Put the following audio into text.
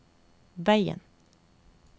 veien